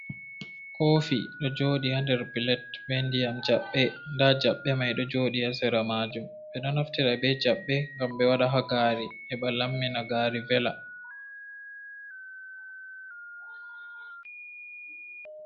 Kofi ɗo joɗi ha nder pilet be ndiyam jaɓɓe, nda jabbe mai ɗo joɗi ha sera majum ɓe ɗo naftira ɓe jabbe ngam ɓe waɗa ha gaari heɓa lammina gaari vela.